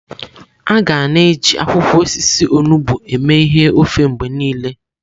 Aga na-eji akwụkwọ osisi onugbo eme ihe ofe mgbe niile.